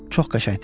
Çox qəşəngdir.